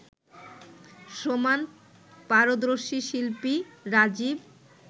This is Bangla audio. সমান পারদর্শী শিল্পী রাজিব